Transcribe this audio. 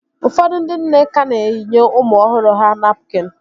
Ụfọdụ ndị nne ka na-eyinye ụmụ ọhụrụ ha napkịn